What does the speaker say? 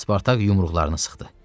Spartak yumruqlarını sıxdı.